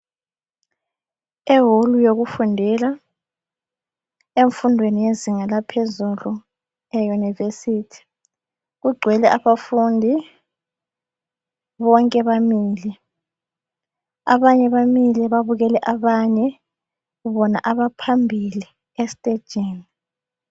Eholu yokufundela, emfundweni yezinga laphezulu eyunivesithi. Kugcwele abafundi, bonke bamile abanye bamile babukele abanye bona abaphambili estejini.